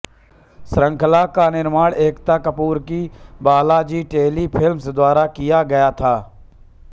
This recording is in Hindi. श्रृंखला का निर्माण एकता कपूर की बालाजी टेलीफ़िल्म्स द्वारा किया गया था